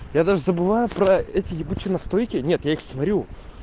я даже забываю про эти ебучие настойки нет я их сварю